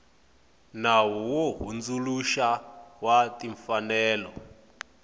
nawu wo hundzuluxa wa timfanelo